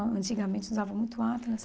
Antigamente usavam muito Atlas.